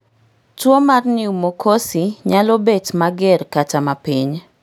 Tuwo mar pneumococci nyalo bet mager kata mapiny